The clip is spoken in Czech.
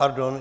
Pardon.